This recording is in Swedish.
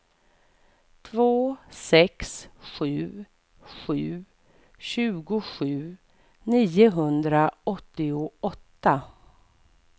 två sex sju sju tjugosju niohundraåttioåtta